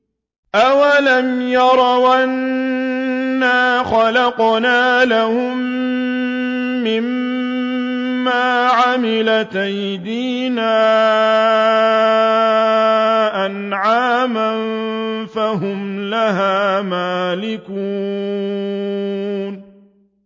أَوَلَمْ يَرَوْا أَنَّا خَلَقْنَا لَهُم مِّمَّا عَمِلَتْ أَيْدِينَا أَنْعَامًا فَهُمْ لَهَا مَالِكُونَ